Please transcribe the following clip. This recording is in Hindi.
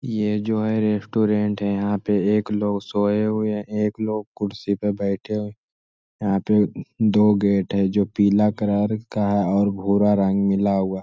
ये जो है रेस्टोरेंट है। यहाँ पे एक लोग सोये हुए है। एक लोग कुर्सी पे बैठे यहाँ पे दो गेट है जो पीला कलर का और भूरा रंग मिला हुआ।